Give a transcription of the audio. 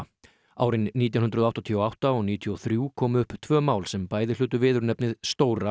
árin nítján hundruð áttatíu og átta og níutíu og þrjú komu upp tvö mál sem bæði hlutu viðurnefnið Stóra